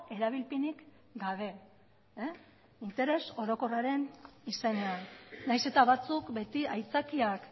erabilpenik gabe interes orokorraren izenean nahiz eta batzuk beti aitzakiak